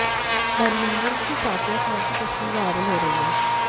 Birmingham की साफिया खान की तस्वीर वायरल हो रही है